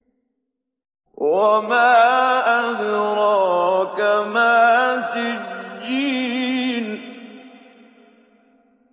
وَمَا أَدْرَاكَ مَا سِجِّينٌ